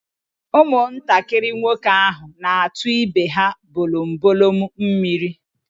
Ụmụntakịrị nwoke ahụ na-atu ibe ha bolombolom mmiri.